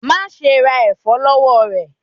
Ma ṣe ra ẹfọ lọwọ rẹ!